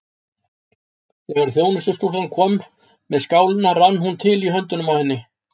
Þegar þjónustustúlkan kom með skálina rann hún til í höndunum á henni.